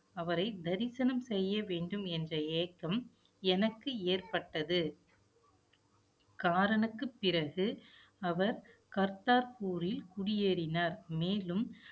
அவரை தரிசனம் செய்ய வேண்டும் என்ற ஏக்கம், எனக்கு ஏற்பட்டது. காரனுக்கு பிறகு, அவர் குடியேறினார். மேலும்